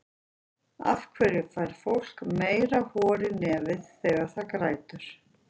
af hverju fær fólk meira hor í nefið þegar það grætur